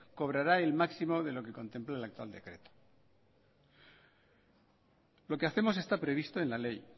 cobrará el máximo de lo que contemple el actual decreto lo que hacemos está previsto en la ley